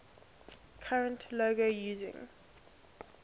current logo using